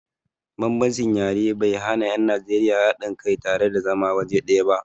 Bambancin yare bai hana 'yan Najeriya haɗin kai tare da zama waje ɗaya ba.